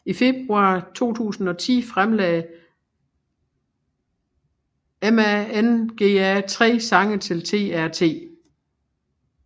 I februar 2010 fremlagte maNga tre sange til TRT